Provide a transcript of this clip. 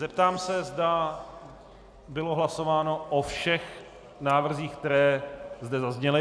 Zeptám se, zda bylo hlasováno o všech návrzích, které zde zazněly?